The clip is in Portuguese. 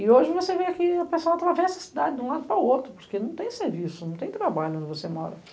E hoje você vê que a pessoa atravessa a cidade de um lado para o outro, porque não tem serviço, não tem trabalho onde você mora.